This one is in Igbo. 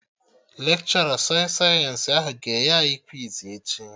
Lekshọra sọị sayensị ahụ ga-enye anyị kwiz echi